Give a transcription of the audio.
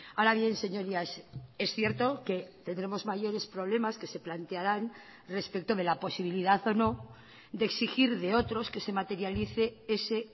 ahora bien señorías es cierto que tendremos mayores problemas que se plantearán respecto de la posibilidad o no de exigir de otros que se materialice ese